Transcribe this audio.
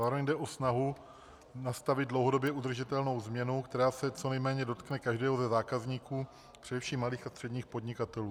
Zároveň jde o snahu nastavit dlouhodobě udržitelnou změnu, která se co nejméně dotkne každého ze zákazníků, především malých a středních podnikatelů.